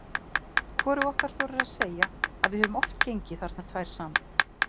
Hvorug okkar þorir að segja að við höfum oft gengið þarna tvær saman.